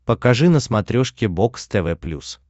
покажи на смотрешке бокс тв плюс